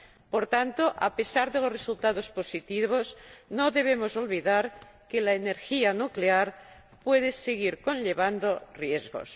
Por tanto, a pesar de los resultados positivos, no debemos olvidar que la energía nuclear puede seguir conllevando riesgos.